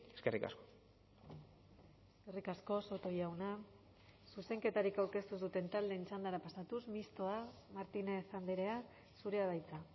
eskerrik asko eskerrik asko soto jauna zuzenketarik aurkeztu ez duten taldeen txandara pasatuz mistoa martínez andrea zurea da hitza